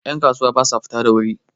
yankasuwa ba sa fita da wuri